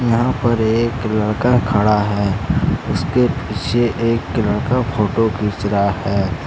यहां पर एक लड़का खड़ा है। उसके पीछे एक लड़का फोटो खींच रहा है।